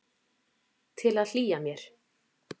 Til að hlýja mér.